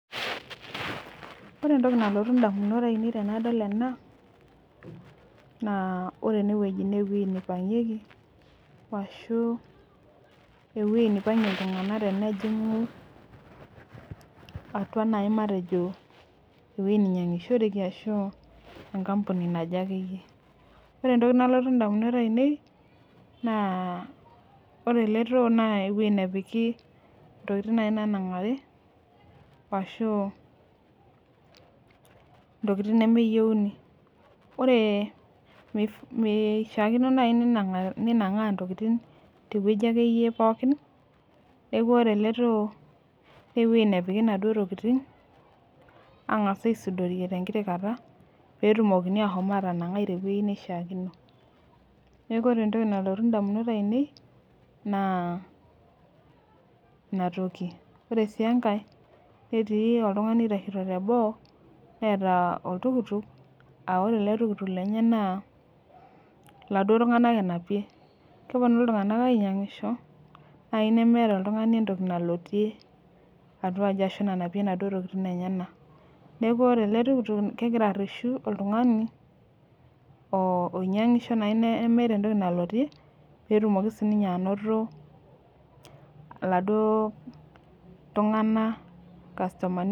Ore entoki nalotu ndamunot ainei tanadol ena na ore enewueji na ewoji naipangieki ashu ewoi najingi ltunganak tenejingu matejo ewoi nainyangishoreki ashu enkampuni naje ore entoki nalotu ndamunot ainei na ore eletoo na ntokitin nanangaru ashu ntokitin nemeyieuni mishakino nai nenangari ntokitin tewueji akeyie pooki neaku ore ele too na ewoi napiki ntokitin angas aisudo tenkiti kata petumokini ashomo atanangai tewuei naishaakino neaku ore entoki nalotu ndamunot ainei na inatoki na ore si enkae netii oltungani aitashe teboo neeta oltukutuk na ore ele tukutuk lenye laduo tunganak enapie keponu ltunganak ainyangisho nai nemeeta oltungani entoki nalotie atua aji ashu nanapie naduo tokitin enyenak neaku ore eletukutuk kegira areshu oltungani oinyangisho nemeeta entoki nalotie petumoki sinye ainoto laduo tunganak irkastomani.